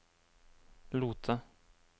Lote